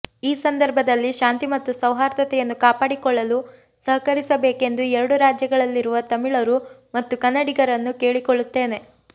ಈ ಸಂದರ್ಭದಲ್ಲಿ ಶಾಂತಿ ಮತ್ತು ಸೌಹಾರ್ದತೆಯನ್ನು ಕಾಪಾಡಿಕೊಳ್ಳಲು ಸಹಕರಿಸಬೇಕೆಂದು ಎರಡು ರಾಜ್ಯಗಳಲ್ಲಿರುವ ತಮಿಳರು ಮತ್ತು ಕನ್ನಡಿಗರನ್ನು ಕೇಳಿಕೊಳ್ಳುತ್ತೇನೆ